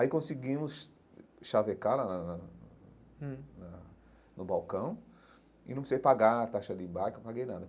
Aí conseguimos chavecar na na na na no balcão e não precisei pagar a taxa de embarque, não paguei nada.